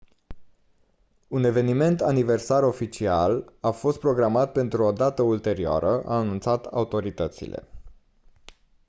un eveniment aniversar oficial a fost programat pentru o dată ulterioară au anunțat autoritățile